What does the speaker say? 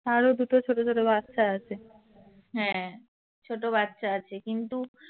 তারও দুটো ছোট ছোট বাচ্চা আছে। ছোট বাচ্ছা আছে কিন্তু।